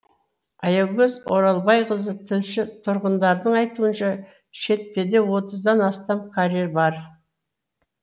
аягөз оралбайқызы тілші тұрғындардың айтуынша шетпеде отыздан астам карьер бар